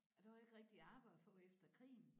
Og der var ikke rigtig arbejde at få efter krigen